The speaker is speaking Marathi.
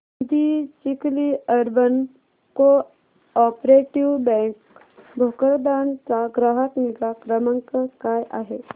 दि Chikhli urban cooperative bank Bhokardan चा ग्राहक निगा क्रमांक काय आहे